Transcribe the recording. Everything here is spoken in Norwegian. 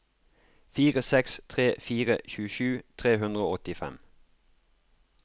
fire seks tre fire tjuesju tre hundre og åttifem